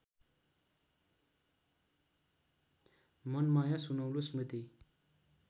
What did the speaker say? मनमाया सुनौलो स्मृति